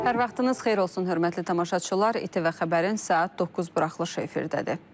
Hər vaxtınız xeyir olsun, hörmətli tamaşaçılar, İTV Xəbərin saat 9 buraxılışı efirdədir.